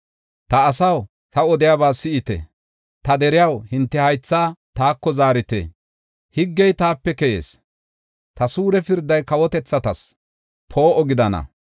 “Ta asaw; ta odiyaba si7ite; ta deriyaw, hinte haythaa taako zaarite. Higgey taape keyees; ta suure pirday kawotethatas poo7o gidana.